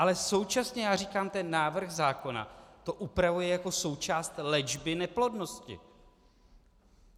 Ale současně já říkám, ten návrh zákona to upravuje jako součást léčby neplodnosti.